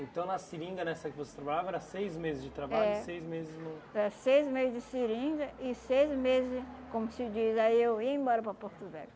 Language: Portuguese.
Então na seringa nessa que você trabalhava era seis meses de trabalho, seis meses não... É, seis meses de seringa e seis meses, como se diz, aí eu ia embora para Porto Velho.